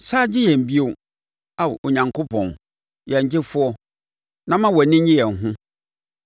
Sane gye yɛn bio, Ao Onyankopɔn, yɛn Gyefoɔ, na ma wʼani nnye yɛn ho.